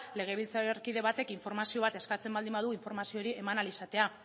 legebiltzarkide batek informazio bat eskatzen baldin badu informazio hori eman ahal izatea